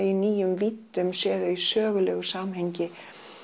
í nýjum víddum séð þau í sögulegu samhengi